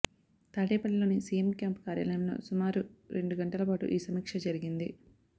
తాడేపల్లిలోని CM camp కార్యాలయంలో సుమారు రెండు గంటల పాటు ఈ సమీక్ష జరిగింది